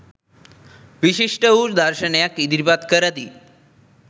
විශිෂ්ට වූ දර්ශනයක් ඉදිරිපත් කරති.